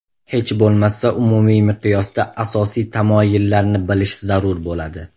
Hech bo‘lmasa umumiy miqyosda asosiy tamoyillarni bilish zarur bo‘ladi.